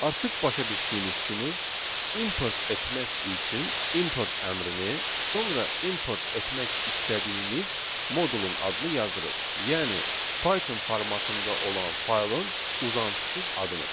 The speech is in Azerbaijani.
Artıq başa düşdüyünüz kimi import etmək üçün import əmrini, sonra import etmək istədiyimiz modulun adını yazırıq, yəni Python formatında olan faylın uzantısız adını.